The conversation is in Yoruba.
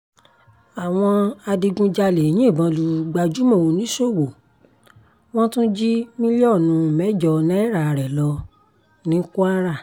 àwọn adigunjalè yìnbọn lu gbajúmọ̀ oníṣòwò wọ́n tún jí mílíọ̀nù mẹ́jọ náírà rẹ̀ lọ ní kwara